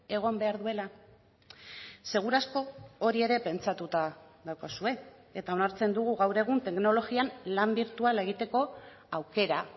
egon behar duela segurazko hori ere pentsatuta daukazue eta onartzen dugu gaur egun teknologian lan birtuala egiteko aukera